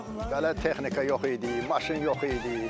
Onda belə texnika yox idi, maşın yox idi.